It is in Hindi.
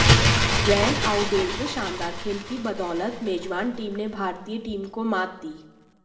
वैन आउबेल के शानदार खेल की बदौलत मेजबान टीम ने भारतीय टीम को मात दी